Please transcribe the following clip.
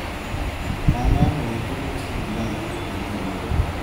Kaikai mwa tukuk chekiyai eng kimnatet.